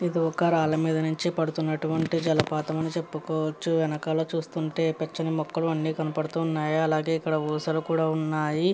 ఇదొక రాళ్ళ మీద నుండు పడుతున్న జలపాతం అని చెప్పుకోవచ్చు. వెనకాల చూస్తుంటే పచ్చని మొక్కలు అన్నీ కనబడుతున్నాయి. అలాగే ఇక్కడ ఊసలు కూడా ఉన్నాయి.